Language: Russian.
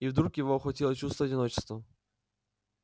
и вдруг его охватило чувство одиночества